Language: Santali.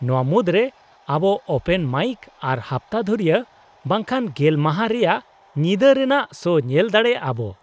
-ᱱᱚᱶᱟ ᱢᱩᱫᱨᱮ ᱟᱵᱚ ᱳᱯᱮᱱ ᱢᱟᱭᱤᱠ ᱟᱨ ᱦᱟᱯᱛᱟ ᱫᱷᱩᱨᱤᱭᱟᱹ ᱵᱟᱝᱠᱷᱟᱱ ᱜᱮᱞ ᱢᱟᱦᱟ ᱨᱮᱭᱟᱜ ᱧᱤᱫᱟᱹ ᱨᱮᱱᱟᱜ ᱥᱳ ᱧᱮᱞ ᱫᱟᱲᱮᱭᱟᱜᱼᱟ ᱟᱵᱚ ᱾